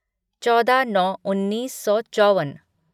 चौदह नौ उन्नीस सौ चौवन